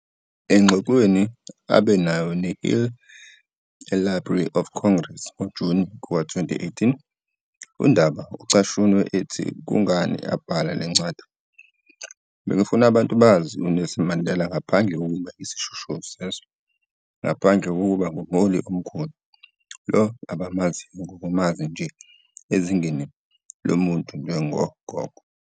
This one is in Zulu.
Engxoxweni abe nayo neHill eLibrary of Congress, ngoJuni 2018, uNdaba ucashunwe ethi kungani abhala le ncwadi, "Bengifuna abantu bazi uNelson Mandela ngaphandle kokuba yisishoshovu sezwe, ngaphandle kokuba ngumholi omkhulu lo abamaziyo nokumazi nje ezingeni lomuntu njengogogo.